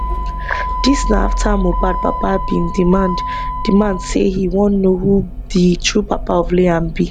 dis na afta mohbad papa bin demand demand say e wan know who di true papa of liam be